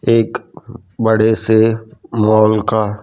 एक बड़े से मॉल का--